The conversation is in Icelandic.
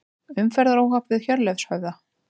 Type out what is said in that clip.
Umferðaróhapp við Hjörleifshöfða